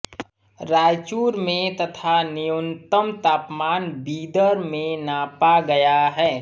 रायचूर में तथा न्यूनतम तापमान बीदर में नापा गया है